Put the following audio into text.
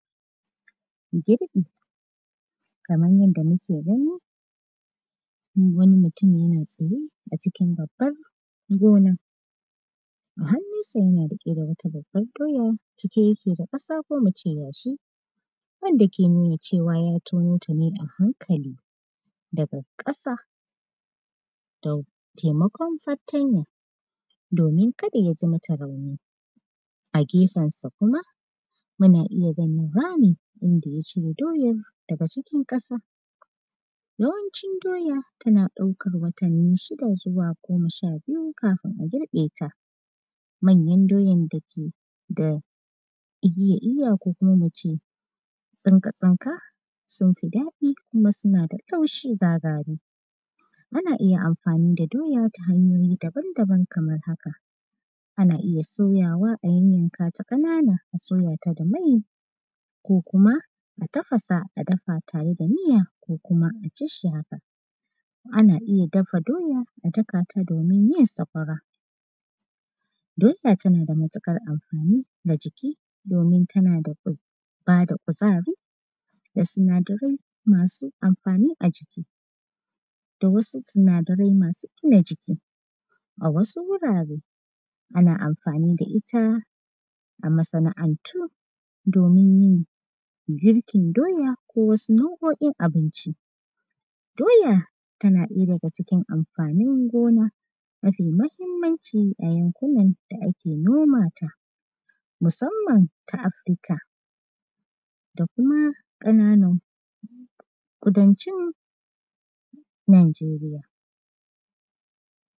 Girƃi. Kaman yadda muke gani, wani mutumi yana tsaye a cikin babbar gona, a hannunsa, yana riƙe da wata babbar doya, cike yake da ƙasa ko mu ce yashi, wanda ke nuna cewa, ya tono ta ne a hankali daga ƙasa da taimakon fartanya, domin kada ya ji mata rauni. A gefensa kuma, muna iya ganin rami inda ya ciro doyar daga cikin ƙasa Yawanci doya, tana ɗaukar watanni shida zuwa goma sha biyu, kafin a girƃe ta, manyan doyan dake da igiya iwa ko kuma mu ce tsinka-tsinka, sun fi daɗi kuma suna laushi ga gari. Ana iya amfani da doya ta hanyoyi daban-daban kamar haka. Ana iya soyawa, a yannyanka ta ƙanana, a soya ta da mai ko kuma a tafasa a dafa tare da miya ko kuma a ci shi haka. Ana iya dafa doya, a daka ta domin yin sakwara. Doya, tana da matiƙar amfani ga jiki, domin tana da kuz; ba da ƙuzari, da sinadarai masu amfani a jiki da wasu sinadarai masu gina jiki. A wasu wurare, ana amfani da ita a masana’antu domin yin girkin doya ko wasu nau’o’in abinci. Doya, tana ɗaya daga cikin amfanin gona mafi mahimmanci a yankunan da ake noma ta, musamman ta Afurka da kuma ƙananan ƙudancin Nanjeriya.